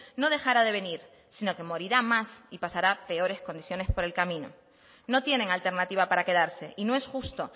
no dejará de venir sino que morirá más y pasará peores condiciones por el camino no tienen alternativa para quedarse y no es justo